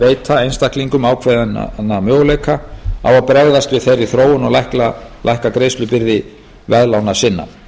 veita einstaklingum ákveðinn möguleika á að bregðast við þeirri þróun og lækka greiðslubyrði veðlána sinna